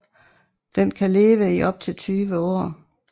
Den kan leve i op til 20 år